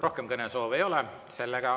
Rohkem kõnesoove ei ole.